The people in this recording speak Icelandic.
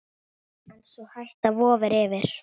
En sú hætta vofir yfir.